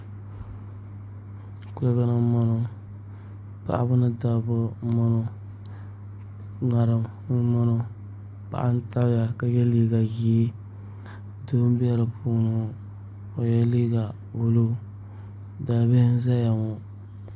Kuligi ni n bɔŋɔ paɣaba nidabba n bɔŋɔ ŋarim n bɔŋɔ paɣa n tabiya ka yɛ liiga ʒiɛ doo n bɛ di puuni ni ŋɔ o yɛla liiga buluu daa bihi n ʒɛya ŋɔ